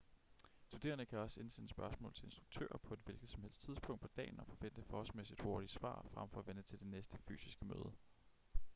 studerende kan også indsende spørgsmål til instruktører på et hvilket som helst tidspunkt på dagen og forvente forholdsmæssigt hurtige svar fremfor at vente til det næste fysiske møde